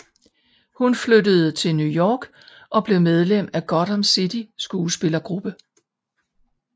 Hun flyttede til New York og blev medlem i Gotham City skuespillergruppe